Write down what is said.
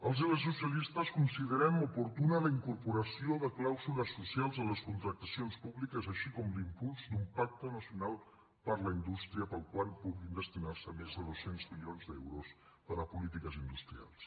els i les socialistes considerem oportuna la incorporació de clàusules socials a les contractacions públiques així com l’impuls d’un pacte nacional per la indústria per al qual puguin destinarse més de dos cents milions d’euros per a polítiques industrials